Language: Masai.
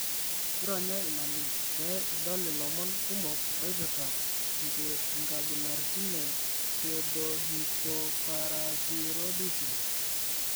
ironya ina link pee idol ilomon kumok ooipoirta inkabilaritin e pseudohypoparathyroidism.